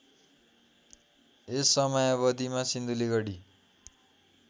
यस समयावधिमा सिन्धुलीगढी